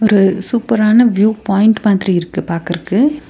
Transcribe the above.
ஒரு சூப்பரான view point மாதிரி இருக்கு பாக்கற்க்கு.